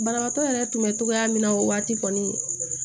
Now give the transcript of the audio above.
Banabaatɔ yɛrɛ tun bɛ togoya min na o waati kɔni